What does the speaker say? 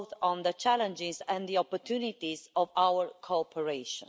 on the challenges and the opportunities of our cooperation.